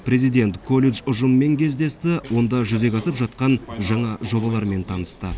президент колледж ұжымымен кездесті онда жүзеге асып жатқан жаңа жобалармен танысты